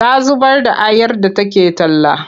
Ta zubar da ayar da take talla.